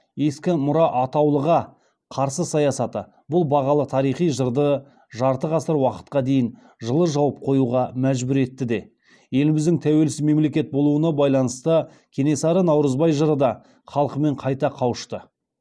ескі мұра атаулыға қарсы саясаты бұл бағалы тарихи жырды жарты ғасыр уақытқа дейін жылы жауып қоюға мәжбүр етті де еліміздің тәуелсіз мемлекет болуына байланысты кенесары наурызбай жыры да халқымен қайта кауышты